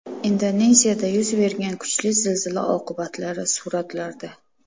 Indoneziyada yuz bergan kuchli zilzila oqibatlari suratlarda.